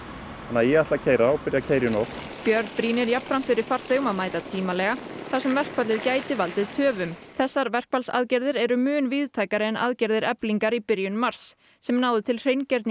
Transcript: ég ætla að keyra og byrja að keyra í nótt björn brýnir jafnframt fyrir farþegum að mæta tímalega þar sem verkfallið gæti valdið töfum þessar verkfallsaðgerðir eru mun víðtækari en aðgerðir Eflingar í byrjun mars sem náðu til